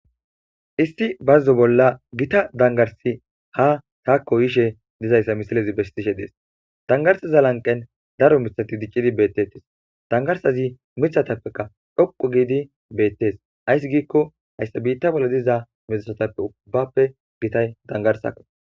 issi bazzo bolla gita dangarsi ha taakko yishe dizayssa misilezi besishe dees dangarsiza lanqen daro mithati dicqidi beettettis dangarsazi mithatappeka dhoqu giidi beettes ayssi giikko hayssa biitta bolla diza misatappe ubbappe gitay dangarsako